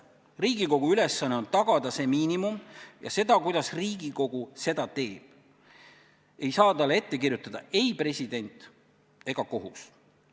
Riigikogu ülesanne on tagada see miinimum, kuid viisi, kuidas Riigikogu seda teeb, ei saa talle ette kirjutada ei president ega kohus.